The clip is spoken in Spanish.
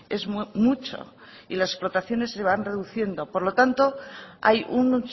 es mucho y las explotaciones se van reduciendo por lo tanto hay un